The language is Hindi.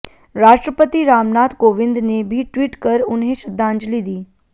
राष्ट्रपति रामनाथ कोविंद ने भी ट्वीट कर उन्हें श्रद्धांजलि दी